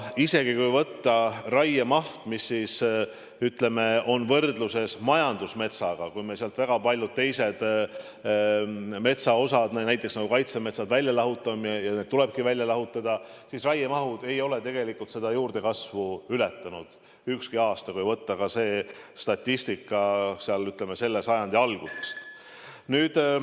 Isegi kui võtta raiemaht võrdluses majandusmetsaga, kui me sealt väga paljud teised metsa osad, näiteks kaitsemetsad, lahutame ja tulebki lahutada, siis raiemaht ei ole tegelikult juurdekasvu ületanud ükski aasta, kui võtta statistika ka selle sajandi algusest.